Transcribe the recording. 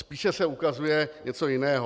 Spíše se ukazuje něco jiného.